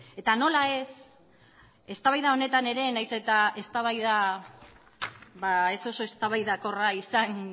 eta nola ez eztabaida honetan ere nahiz eta eztabaida ez oso eztabaidakorra izan